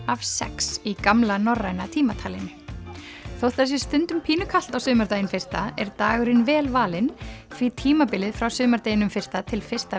af sex í gamla norræna tímatalinu þótt það sé stundum pínu kalt á sumardaginn fyrsta er dagurinn vel valinn því tímabilið frá sumardeginum fyrsta til fyrsta